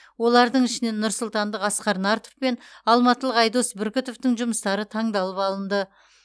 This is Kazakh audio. олардың ішінен нұрсұлтандық асқар нартов пен алматылық айдос бүркітовтің жұмыстары таңдалып алынды